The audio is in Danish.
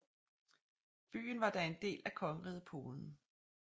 Byen var da en del af Kongeriget Polen